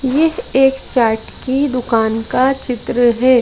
ये एक चार्ट की दुकान का चित्र है।